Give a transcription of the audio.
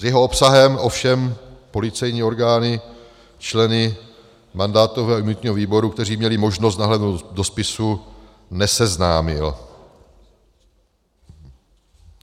S jeho obsahem ovšem policejní orgány členy mandátového a imunitního výboru, kteří měli možnost nahlédnout do spisu, neseznámil.